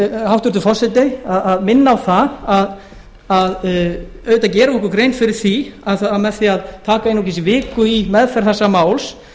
hæstvirtur forseti að minna á það að auðvitað gerum við okkur grein fyrir því að með því að taka aðeins viku í meðferð þessa máls